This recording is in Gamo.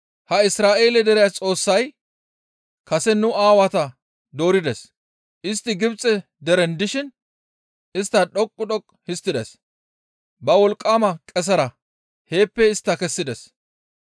Ha Isra7eele dere Xoossay kase nu aawata doorides; istti Gibxe deren dishin istta dhoqqu dhoqqu histtides; ba wolqqama qesera heeppe istta kessides.